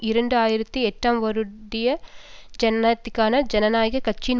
இரண்டு ஆயிரத்தி எட்டாம் வருடத்திய ஜனாதிபதிக்கான ஜனநாயக கட்சியின்